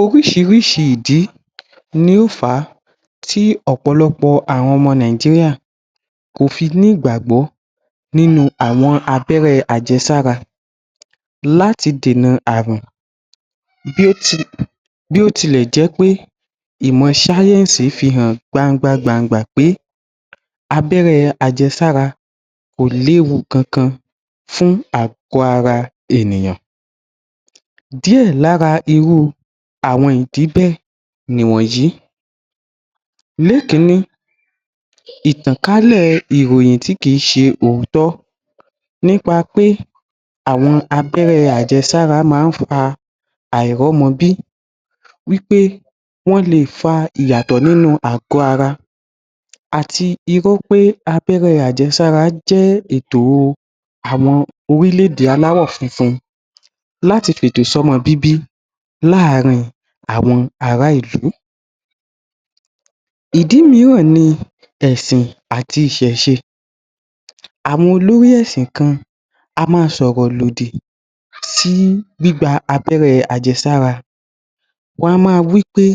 Oríṣiríṣi ìdí ni ó fa tí ọ̀pọ̀lọ́pọ̀ àwọn ọmọ nìgíríà tí kò fi ní ìgbàgbọ nínú abẹ́rẹ́ àjẹsára láti dènà ààrùn bí ó ti bí ó tilẹ̀ jẹpé ìmọ̀ sáyẹ̀nsì fihàn gbangba gbàngbà pé abẹ́rẹ́ àjẹsára kò léwu kankan fún àgọ́ ara ènìyàn díè lára ìdí bẹ́ẹ̀ ní wọ̀nyí ní èkíní ìtàn kálẹ̀ ìròyìn tí kìí se òótọ́ nípa pé àwọn abẹ́rẹ́ àjẹsára máa ń fa àírọmọbí wípé wọ́n leè fa ìyàtọ̀ nínú àgọ́ ara àti irọ́ pé abẹ́rẹ́ àjẹsára jẹ́ ètò àwọn orílẹ̀ ède aláwọ̀ funfun láti fi ètò sí ọmọ bíbí láàrin àwọn ará ìlú ìdí míràn ní ẹ̀ṣìn àti ìṣẹ̀ṣe àwọn olórí ẹ̀ṣìn kan a máa sọ̀rọ̀ lòdì sí gbígba abẹ́rẹ́ àjẹsára wọn a máa wípé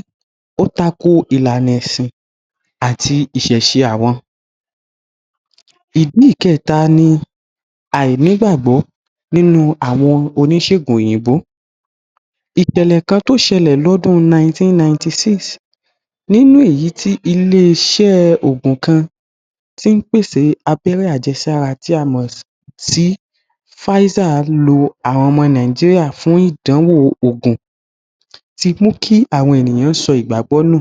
o takò ìlànà ẹ̀ṣìn àti ìṣẹ̀ṣe àwọn ìdí ìkẹta ní àìní gbàgbó nínú àwọn Oníṣègùn òyìnbó ìṣẹ̀lẹ̀ kan tó sẹlẹ̀ ọ́ ọdún 1996 nínú èyí tí ilé iṣé òògùn kan tí ní? pèsè abẹ́rẹ́ àjẹsára tí a mọ sí váísà lo àwọn ọmọ nìgíríà fún ìdánwò òògùn tí mú kí àwọn ènìyàn sọ ìgbàgbọ nù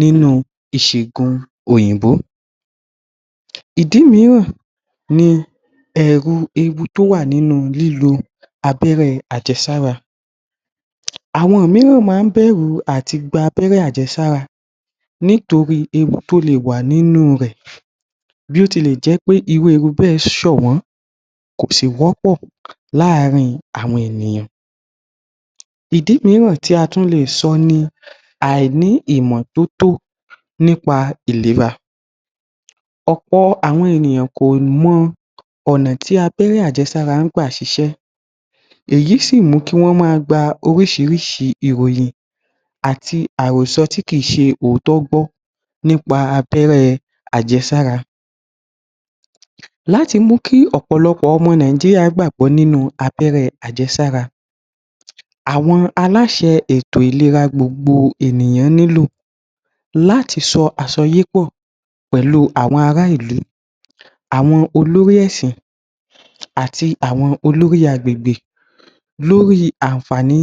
nínú ìṣẹ̀gùn òyìnbó ìdí míràn ní ẹ̀rù ewu tí ó wà nínú lílo abẹ́rẹ́ àjẹsára àwọn mìíràn máa n bẹ̀rù àti gba abẹ́rẹ́ àjẹsára nítorí ewu tó leè wà nínú rè bí óti lẹ̀ jẹpé irú ewu bẹ́ẹ̀ ṣọ̀wọ́n kòsí wọ́pọ̀ láàrin àwọn ènìyàn ìdí míràn tí a tún leè so ní aìní ìmọ̀ tótó nípa ìlera ọ̀pọ̀ àwọn ènìyàn kò mọ ọ̀nà tí abẹ́rẹ́ àjẹsára ń gbà ṣiṣẹ́ èyí sí mú kí wọn máa gbaa oríṣiríṣi ìròyìn àti àròsọ tí kìí se òótọ́ gbó nípa abẹ́rẹ́ àjẹsára láti mú kí ọ̀pọ̀lọ́pọ̀ ọmọ nìgíríà gbàgbọ́ nínú abẹ́rẹ́ àjẹsára àwọn aláṣẹ ètò ìlera gbogbo ènìyàn nílò láti ṣọ àṣọyépọ̀ pẹ̀lú àwọn ará ìlú àwọn olórí ẹ̀ṣìn àti àwọn olórí agbègbè lórí àǹfàní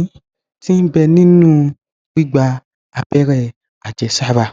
ti ní bẹ́ẹ̀ nínú gbígba abẹ́rẹ́ àjẹsára.